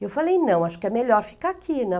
Eu falei, não, acho que é melhor ficar aqui, né?